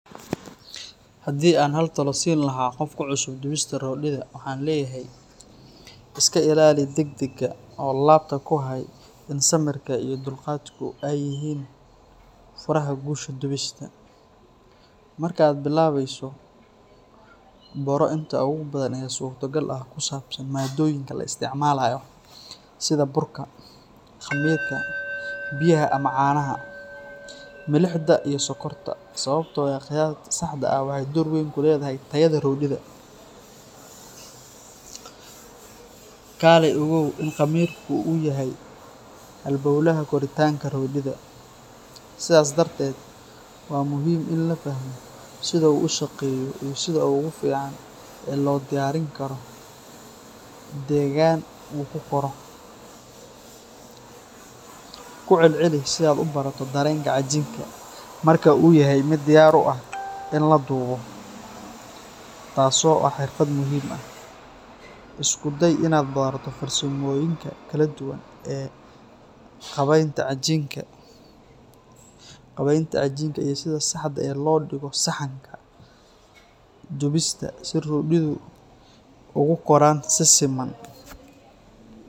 Haddii aan hal talo siin lahaa qof ku cusub dubista roodhida, waxaan leeyahay. ska ilaali degdegga oo laabta ku hay in samirka iyo dulqaadku ay yihiin furaha guusha dubista. Marka aad bilaabayso, baro inta ugu badan ee suurtagal ah oo ku saabsan maaddooyinka la isticmaalayo, sida burka, khamiirka, biyaha ama caanaha, milixda iyo sokorta, sababtoo ah qiyaasta saxda ah waxay door weyn ku leedahay tayada roodhida. Kaalay ogow in khamiirku uu yahay halbawlaha koritaanka roodhida, sidaas darteed waa muhiim in la fahmo sida uu u shaqeeyo iyo sida ugu fiican ee loogu diyaarin karo deegaan uu ku koro. Ku celceli si aad u barato dareenka cajiinka marka uu yahay mid diyaar u ah in la dubo, taas oo ah xirfad muhiim ah. Isku day inaad barato farsamooyinka kala duwan ee qaabaynta cajiinka iyo sida saxda ah ee loo dhigo saxanka dubista si roodhidu ugu koraan si siman